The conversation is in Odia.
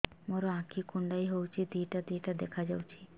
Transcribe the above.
ମୋର ଆଖି କୁଣ୍ଡାଇ ହଉଛି ଦିଇଟା ଦିଇଟା ଦେଖା ଯାଉଛି